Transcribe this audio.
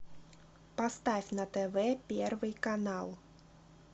поставь на тв первый канал